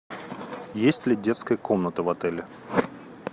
есть ли детская комната в отеле